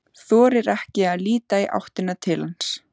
Þorir ekki að líta í áttina til hans.